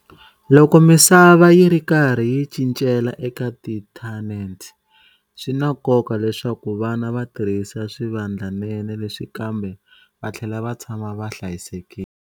Loko misava yi ri karhi yi cincela eka inthanete, swi na nkoka leswaku vana va tirhisa swivandlanene leswi kambe va tlhela va tshama va hlayisekile.